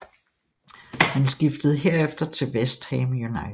Han skiftede herefter til West Ham United